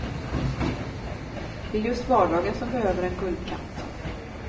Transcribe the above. Det är just vardagen som behöver en guldkant.